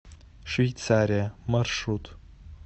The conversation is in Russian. швейцария маршрут